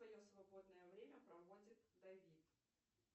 свободное время проводит давид